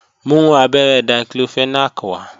Mú abẹ́rẹ́ Diclofenac wá!